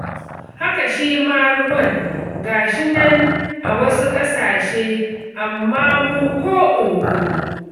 Haka shi ma ruwan, ga shi nan a wasu ƙasashe, amma mu ko oho.